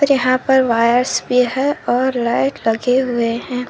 जहां पर वायर्स भी है और लाइट लगे हुए है।